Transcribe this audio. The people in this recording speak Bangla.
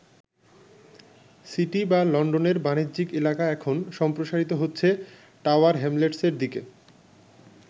সিটি বা লন্ডনের বাণিজ্যিক এলাকা এখন সম্প্রসারিত হচ্ছে টাওয়ার হ্যামলেটসের দিকে।